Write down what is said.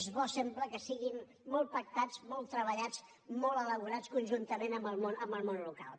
és bo sempre que siguin molt pactats molt treballats molt elaborats conjuntament amb el món local